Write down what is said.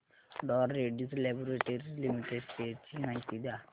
डॉ Reddy's Laboratories Limited shares ची माहिती द्या